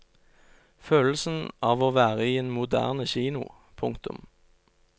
Følelsen av å være i en moderne kino. punktum